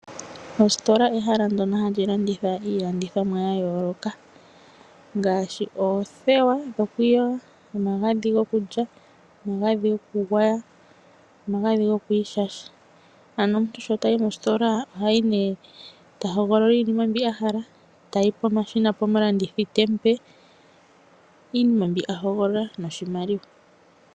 Ositola ehala ndyono hali landitha iilandithomwa ya yooloka, ngaashi oothewa dhokwiiyoga, omagadhi gokulya, omagadhi gokugwaya nomagadhi gokwiishasha. Ano omuntu sho tayi mositola oha hogolola iinima mbi a hala, tayi pomashina pomulandithi te mu pe iinima mbi a hogolola noshimaliwa.